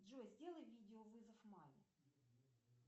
джой сделай видеовызов маме